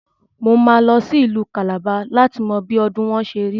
Mo máa lọ sí Ìlú Kàlàba láti mọ bí ọdùn wọn ṣerí.